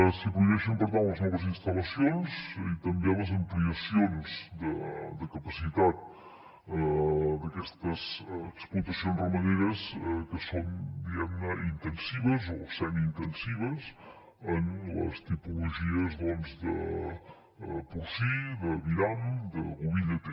s’hi prohibeixen per tant les noves instal·lacions i també les ampliacions de capacitat d’aquestes explotacions ramaderes que són diguemne intensives o semiintensives en les tipologies de porcí d’aviram de boví lleter